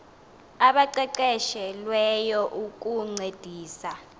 abaqeqeshe lweyo ukuncedisa